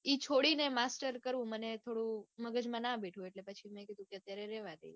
ઈ છોડીને master કરવું મને થોડું મગજમાં ના બેઠું એટલે પછી મેં કીધું કે અત્યારે રેવા દઈએ.